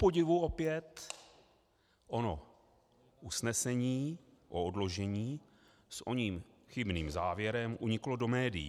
Kupodivu opět ono usnesení o odložení s oním chybným závěrem uniklo do médií.